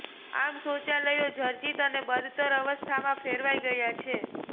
આમ શૌચાલયો જર્જરીત અને બદતર અવસ્થામાં ફેરવાઇ ગયા છે